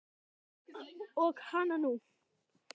Og hana nú!